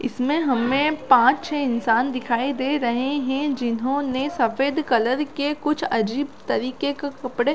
इसमें हमें पांच छे इंसान दिखाई दे रहै है जिन्होने सफ़ेद कलर के कुछ अजीब तरीके के कपड़ा--